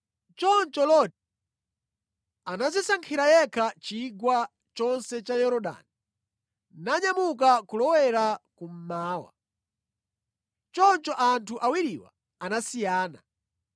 Choncho Loti anadzisankhira yekha chigwa chonse cha Yorodani nanyamuka kulowera cha kummawa. Choncho anthu awiriwa anasiyana.